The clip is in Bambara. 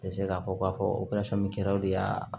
Tɛ se k'a fɔ k'a fɔ kɛra o de y'a